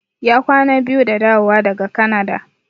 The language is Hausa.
Ya kwana biyu da dawowa daga Kanada.